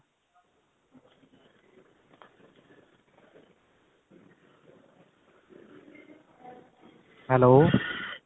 hello